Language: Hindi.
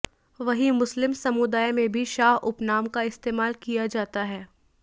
वहीं मुस्लिम समुदाय में भी शाह उपनाम का इस्तेमाल किया जाता है